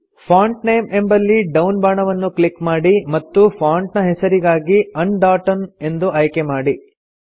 font name ಎಂಬಲ್ಲಿ down ಬಾಣವನ್ನು click ಮಾಡಿ ಮತ್ತು ಫಾಂಟ್ ನ ಹೆಸರಿಗಾಗಿ ಅಂಡೋಟಮ್ ಎಂದು ಆಯ್ಕೆ ಮಾಡಿ